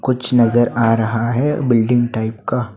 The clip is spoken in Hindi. कुछ नजर आ रहा है बिल्डिंग टाइप का।